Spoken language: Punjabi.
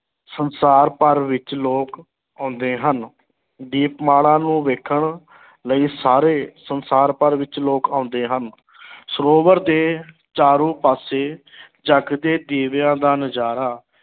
ਸੰਸਾਰ ਭਰ ਵਿੱਚ ਲੋਕ ਆਉਂਦੇ ਹਨ, ਦੀਪਮਾਲਾ ਨੂੰ ਵੇਖਣ ਲਈ ਸਾਰੇ ਸੰਸਾਰ ਭਰ ਵਿੱਚ ਲੋਕ ਆਉਂਦੇ ਹਨ ਸਰੋਵਰ ਦੇ ਚਾਰੋਂ ਪਾਸੇ ਜਗਦੇ ਦੀਵਿਆਂ ਦਾ ਨਜ਼ਾਰਾ